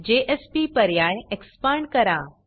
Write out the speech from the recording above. JSP पर्याय expand करा